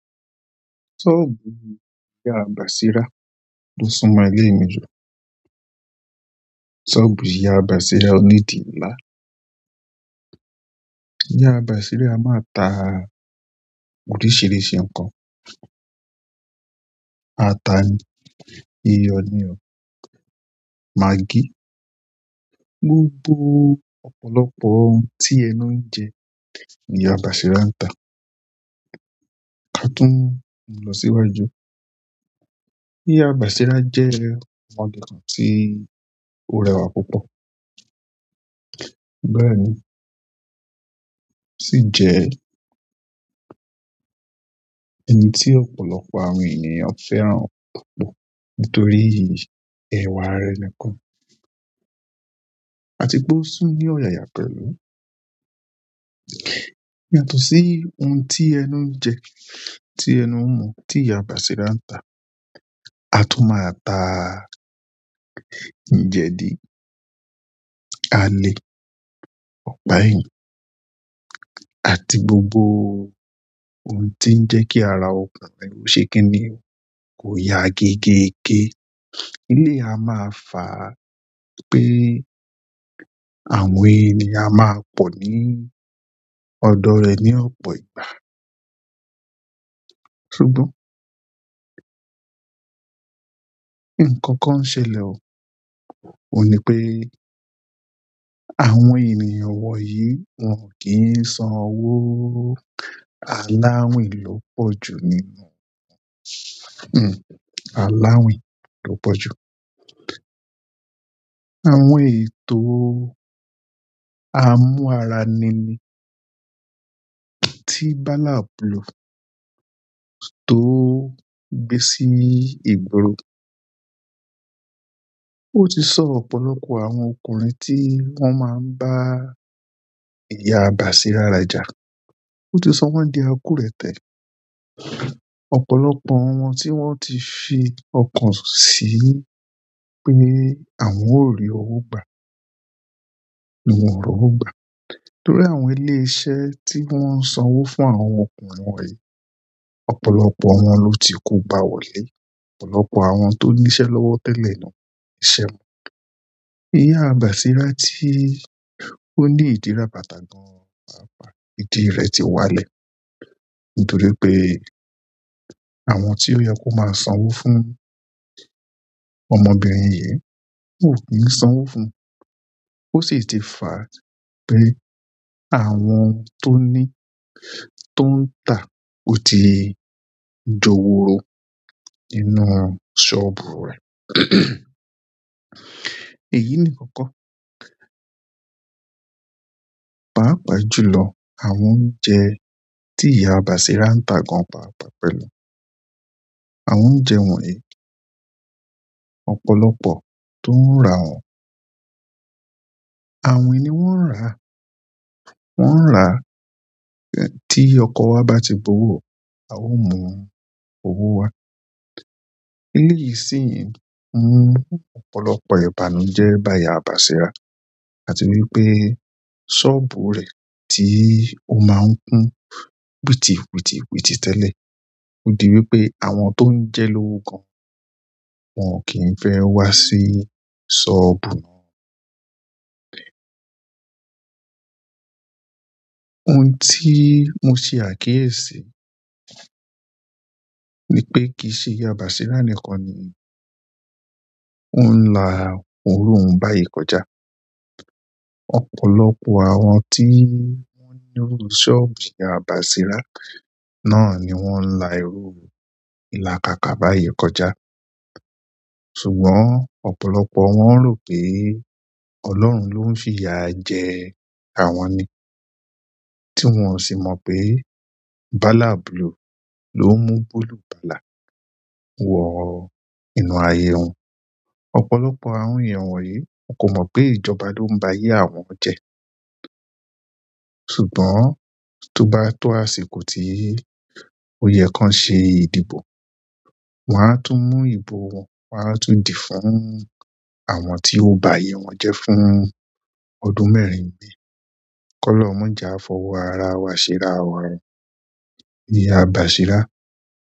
Ṣọ́ọ̀bù ìyá bàṣírà, ó sún mọ ilé mi jù. Soobu iya basira onidi ńlá. Ìyá bàṣírà a máa ta oríṣìíríṣìí nǹkan. Ata ni, iyọ ní o, magí, gbogbo ọ̀pọ̀lọpọ̀ ohun tí ẹnú ń jẹ ni ìyá bàṣírà ń ta. Ka tún lọ síwájú, ìyá bàṣírà jẹ́ ọmidan tí ó rẹwà púpọ̀. Bẹ́ẹ̀ni, sí jẹ oun ti ọ̀pọ̀lọpọ̀ àwọn ènìyàn fẹ́ràn púpọ̀ nítorí ewa re nìkan. A ti pe o tún ní ọ̀yàyà pẹ̀lú. Yàtọ̀ sí ohun tí ẹnu ń jẹ́, tí ẹnu ń mú, tí ìyá bàṣírà ń ta. A tún máa ta jẹ́dì, alẹ́, ọ̀pá ẹyin àti gbogbo ohun tí ń jẹ́ kí ara ọkùnrin ṣe kí ni, kò ya géégé. Eleyi a máa fà, pé àwọn ènìyàn a máa pọ́ ní ọ̀dọ̀ rẹ̀ ní ọ̀pọ̀ ìgbà. Ṣùgbọ́n nǹkan kan ń ṣẹlẹ̀ o. Óun ní pé àwọn ènìyàn wọ̀nyí wọn ò kí ń san owó. Aláwín ló pọ̀jù nínú aláàwín ló pọ̀jù. Àwọn ètò amú ara ni ni, tí Balablu tó gbé sí igbóro o ti so ọ̀pọ̀lọpọ̀ àwọn ọkùnrin ti won ma n ba iya basira raja. Ó ti sọ wọ́n di àkùretẹ́. Ọ̀pọ̀lọpọ̀ wọn tí wọ́n ti fi ọkàn sí i pé àwọn ó rí owó gbà ni wọ́n ò rí owó gbà. Torí àwọn ilé iṣẹ́ tí wọ́n n sán owó fún àwọn ọkùnrin wọ̀nyí, ọ̀pọ̀lọpọ̀ wọn ló ti kógba wọlé. Ọ̀pọ̀lọpọ̀ àwọn tó ní iṣẹ́ lọ́wọ́ tẹ́lẹ̀, ìṣẹ́ ìyá bàṣírà tí ó ní ìdí rabata ìdí rẹ̀ ti wálẹ̀ nítorí pé àwọn tí ó yen kó máa san owó fún ọmọbìnrin yìí, wọ́n ò kí ń san owó fún ó sì ti fàá pé àwọn tó ní, tó ń tà ó ti jowuro nínú ṣọ́ọ̀bù rẹ̀. Èyí nìkan kọ́. Páàpàá jùlọ, àwọn ọ̀unje tí ìyá bàṣírà ń ta gan pàápàá pẹ̀lú. Àwọn oúnjẹ wọ̀nyí, ọ̀pọ̀lọpọ̀ tó ń rà wọ́n. Awin ni won n ra. Wọ́n n rà, tí ọkọ wa bá ti gbowo o, a ó mú owó wa. Eleyi si mu ọ̀pọ̀lọpọ̀ ìbànújẹ́ ba iya basira àti wípé soobu re tí o ma n kun witi witi witi tele. Ó di wípé àwọn tó ń jé lówo gan wọn kì í fẹ́ wá sí ṣọ́ọ̀bù. Ohun tí mo ṣe àkíyèsí ni pé kì í ṣe ìyá bàṣírà nìkan ni ó ń la òrò ohun báyìí kọjá. Ọ̀pọ̀lọpọ̀ àwọn tí wọ́n nírú ṣọ́ọ̀bu ìyá bàṣírà náà ni wọ́n ń la iru ìlàkàkà báyìí kọjá. Ṣùgbọ́n ọ̀pọ̀lọpọ̀ won ro pe ọlọ́run lo n fi iya je àwọn ni tí wọn ò sì mọ pé Balabulu ló ń mú bulùbàlà wọ inú ayé wọn. Ọ̀pọ̀lọpọ̀ àwọn èeyàn wọ̀n yí wọn kò mọ́ pé ìjọba ló ń bá ayé àwọn jẹ. Ṣùgbọ́n tó bá tó àṣiko tí ó yẹ kan ṣe ìdìbò, wọn á tún mú ìbò wọn, wọn á tún dìí fún àwọn tí ó bá ayé wọn jẹ fún ọdún mẹ́rin imi kọ̀lọ́hun, maje a fọwọ́ ara wà ṣé ra wa o, ìyá bàṣírà.